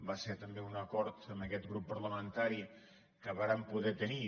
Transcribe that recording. va ser també un acord amb aquest grup parlamentari que vàrem poder tenir